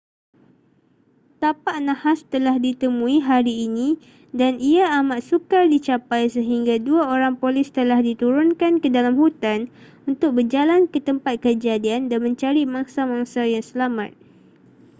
tapak nahas telah ditemui hari ini dan ia amat sukar dicapai sehingga dua orang polis telah diturunkan ke dalam hutan untuk berjalan ke tempat kejadian dan mencari mangsa-mangsa yang selamat